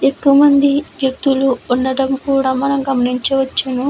ఎక్కువమంది వ్యక్తులు కూడా ఉండటం మనం గమనించవచ్చు.